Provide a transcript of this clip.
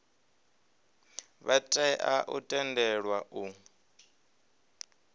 vha tea u tendelwa u